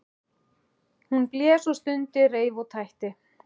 Hún blés og stundi, reif og tætti.